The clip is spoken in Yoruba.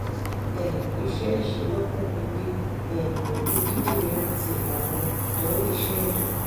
um iṣẹ iṣelọpọ pipe um pẹlu kidirin ati awọn idanwo iṣẹ ẹdọ